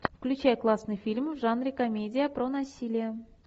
включай классный фильм в жанре комедия про насилие